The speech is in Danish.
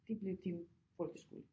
Det bliver din folkeskole